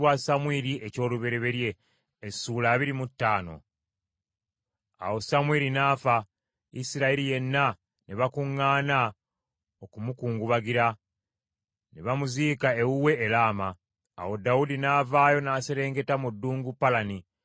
Awo Samwiri n’afa, Isirayiri yenna ne bakuŋŋaana okumukungubagira. Ne bamuziika ewuwe e Laama. Awo Dawudi n’avaayo n’aserengeta mu ddungu Palani.